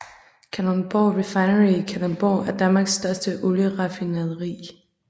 Kalundborg Refinery i Kalundborg er Danmarks største olieraffinaderi